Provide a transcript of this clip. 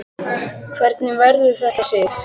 Hvernig verður þetta, Sif?